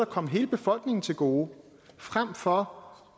komme hele befolkningen til gode frem for